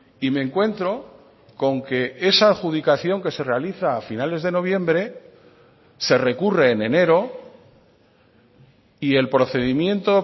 y me encuentro con que esa adjudicación que se realiza a finales de noviembre se recurre en enero y el procedimiento